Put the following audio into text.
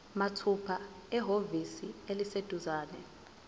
mathupha ehhovisi eliseduzane